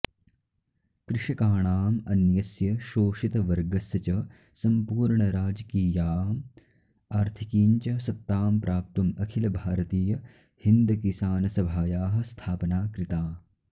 कृषकाणाम् अन्यस्य शोषितवर्गस्य च सम्पूर्णराजकीयाम् आर्थिकीं च सत्तां प्राप्तुम् अखिलभारतीयहिन्दकिसानसभायाः स्थापना कृता